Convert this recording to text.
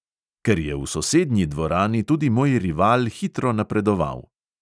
Ker je v sosednji dvorani tudi moj rival hitro napredoval.